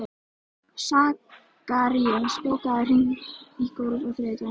Sakarías, bókaðu hring í golf á þriðjudaginn.